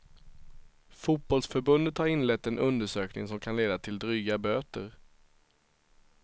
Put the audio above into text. Fotbollförbundet har inlett en undersökning som kan leda till dryga böter.